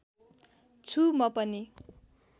छु म पनि